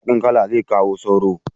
Baƙin kala zai kawo sauro